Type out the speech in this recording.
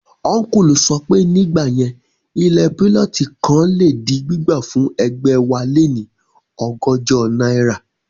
Ọ́nkùlù sọ pé, nígbà yẹn ilẹ̀ púlọ̀tì kan le di gbígbà fún ẹgbẹ̀wáléní ọgọ́jọ náírà